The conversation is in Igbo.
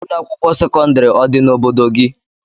Ụlọakwụkwọ sekọndịrị ọ dị n'obodo gị?